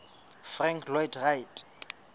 frank lloyd wright